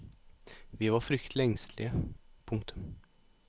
Vi var fryktelig engstelige. punktum